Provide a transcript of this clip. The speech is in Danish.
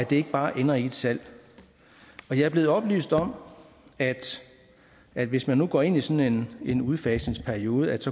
det ikke bare ender i et salg og jeg er blevet oplyst om at at hvis man nu går ind i sådan en udfasningsperiode